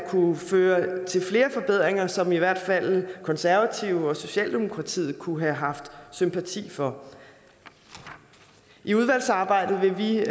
ført til flere forbedringer som i hvert fald de konservative og socialdemokratiet kunne have haft sympati for i udvalgsarbejdet vil vi